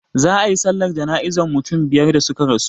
Za a yi sallar jana'izan mutum biyar da suka rasu,